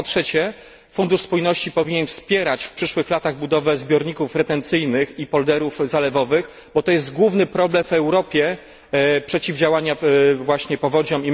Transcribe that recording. Po trzecie Fundusz Spójności powinien wspierać w przyszłych latach budowę zbiorników retencyjnych i polderów zalewowych, bo jest to główny problem w Europie przeciwdziałania właśnie powodziom.